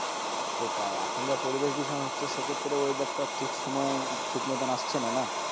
সেটাই, এখন যা পরিবেশ দূষণ হচ্ছে সেক্ষেত্রে weather তো আর ঠিক সময় ঠিক মতো আসছে না না।